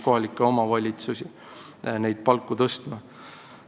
Kohalikke omavalitsusi püütakse motiveerida neid palku tõstma.